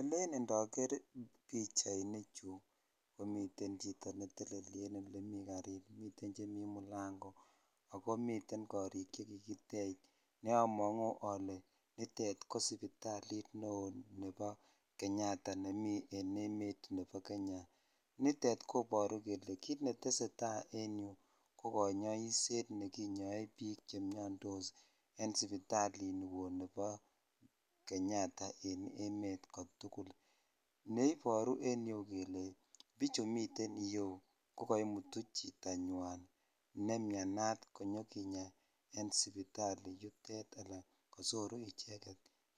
Elen indoger pichaanichu komiten en olemi garit cheni mulango akomiten korik che kikitech ne amonguu ole nitet ko sipitalit neo nebo kenyatta nemi en emet nebo Kenya nitet koboru kele kit netesetai en yuu ko konyoishet ne konyoe bik chemiondos en sipitalini woo nibo kenyatta en emet kotugul ne iboru en yu kele bich miten yuu ko kaimutu chetanyan me mianat konyokinya en sipitali yutet ala kososoru indeed